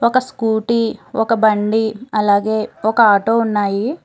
ఒక స్కూటీ ఒక బండి అలాగే ఒక ఆటో ఉన్నాయి.